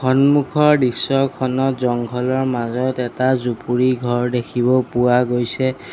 সন্মুখৰ দৃশ্যখনত জংঘল ৰ মাজত এটা জুপুৰি ঘৰ দেখিব পোৱা গৈছে।